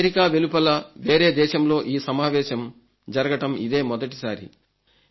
America వెలుపల వేరే దేశంలో ఈ సమావేశం ఇదే మొదటిసారి